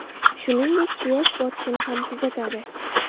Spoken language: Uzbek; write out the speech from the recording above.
Shuningdek, quyosh botishini ham kuzatadi.